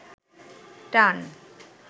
টান